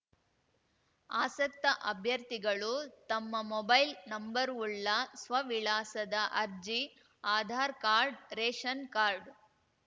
ಆಸಕ್ತ ಅಭ್ಯರ್ಥಿಗಳು ತಮ್ಮ ಮೊಬೈಲ್‌ ನಂಬರ್‌ವುಳ್ಳ ಸ್ವವಿಳಾಸದ ಅರ್ಜಿ ಆಧಾರ್‌ ಕಾರ್ಡ್‌ ರೇಷನ್‌ ಕಾರ್ಡ್‌